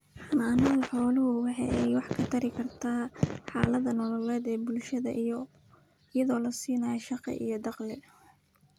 Xanaanada xooluhu waxa ay wax ka tari karta xaalada nololeed ee bulshada iyada oo la siinayo shaqo iyo dakhli.